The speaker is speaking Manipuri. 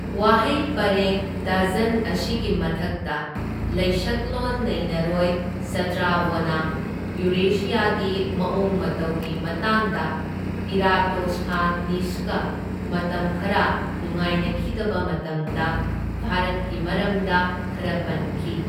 ꯋꯥꯍꯩ ꯄꯔꯦꯡ ꯗꯖꯟ ꯑꯁꯤꯒꯤ ꯃꯊꯛꯇ ꯂꯩꯁꯛꯂꯣꯟ ꯅꯩꯅꯔꯣꯏ ꯁꯇ꯭ꯔꯥꯕꯣꯅ ꯌꯨꯔꯦꯁꯤꯌꯥꯒꯤ ꯃꯑꯣꯡ ꯃꯇꯧꯒꯤ ꯃꯇꯥꯡꯗ ꯏꯔꯥꯇꯣꯁꯊꯅꯤꯁꯀ ꯃꯇꯝ ꯈꯔ ꯅꯨꯡꯉꯥꯏꯅꯈꯤꯗꯕ ꯃꯇꯝꯗ ꯚꯥꯔꯠꯀꯤ ꯃꯔꯝꯗ ꯈꯔ ꯄꯟꯈꯤ꯫